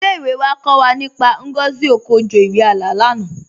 Ilé-ìwé wà kọ́ wà nípá Ngozi Okonjo-Iweala lánà